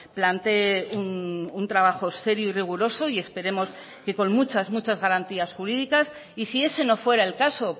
plantee un trabajo serio y riguroso y esperemos que con muchas muchas garantías jurídicas y si ese no fuera el caso